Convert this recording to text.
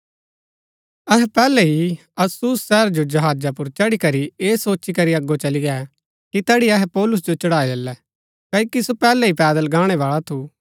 अहै पैहलै ही अस्सुस शहर जो जहाजा पुर चढ़ी करी ऐह सोची करी अगो चली गै कि तैड़ी अहै पौलुस जो चढ़ाई लैलै क्ओकि सो पैहलै ही पैदल गाणैवाळा थु